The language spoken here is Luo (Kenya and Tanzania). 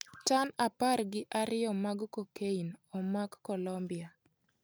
Tan apar gi ariyo mag cocaine omak Colombia